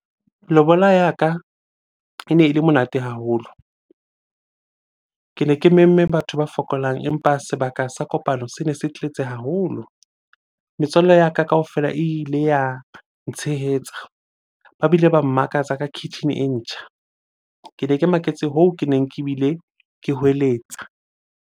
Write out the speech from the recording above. Lobola ya ka ene ele monate haholo. Kene ke memme batho ba fokolang, empa sebaka sa kopano sene se tletse haholo. Metswalle ya ka kaofela e ile ya ntshehetsa, ba bile ba mmakatsa ka kitchen-e e ntjha. Kene ke maketse hoo keneng ke bile ke hweletsa.